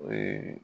Ee